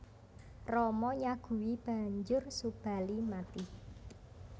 Rama nyaguhi banjur Subali mati